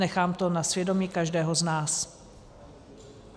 Nechám to na svědomí každého z nás.